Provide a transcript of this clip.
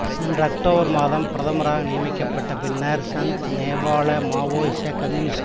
சென்ற அக்டோபர் மாதம் பிரதமராக நியமிக்கப்ட்ட பின்னர் சந்த் நேபாள மாவோயிச கம்யூனிஸ்ட்